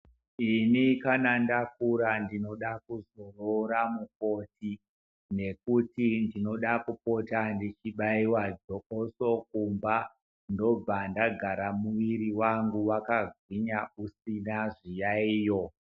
Ini kana ndakura ndinoda kuzo rora mukoti nekuti ndinoda kupota ndechi baiwa jokoso kumba ndobva ndagara muviri wangu waka gwinya usina zviyayiyo.